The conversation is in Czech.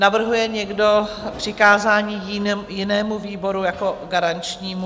Navrhuje někdo přikázání jinému výboru jako garančnímu?